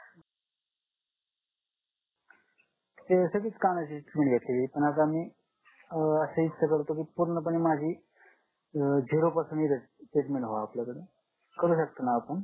ते सगळीच कानाची म्हणजे हे एकूणच आम्ही अं अशी इच्छा करतो की पूर्णपणे माझी zero पासन इथं treatment व्हावी आपल्याकडे करू शकता ना आपण